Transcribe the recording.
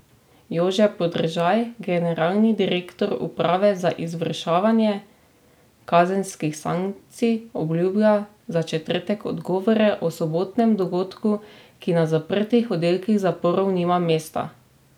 Jože Podržaj, generalni direktor uprave za izvrševanje kazenskih sankcij obljublja za četrtek odgovore o sobotnem dogodku, ki na zaprtih oddelkih zaporov nima mesta.